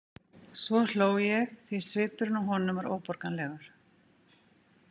Svo hló ég því svipurinn á honum var óborganlegur.